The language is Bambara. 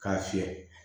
K'a fiyɛ